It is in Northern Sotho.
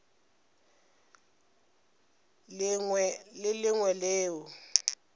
lengwe le le lengwe leo